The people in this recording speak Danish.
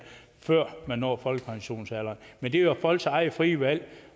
før man når folkepensionsalderen men det er jo folks eget frie valg